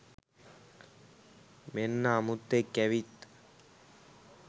මෙන්න අමුත්තෙක් ඇවිත්